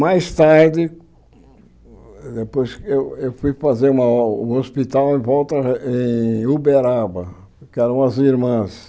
Mais tarde, depois eu eu fui fazer um hospital em volta em Uberaba, que eram as irmãs.